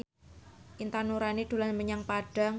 Intan Nuraini dolan menyang Padang